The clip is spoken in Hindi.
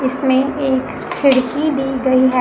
इसमें एक खिड़की दी गई है।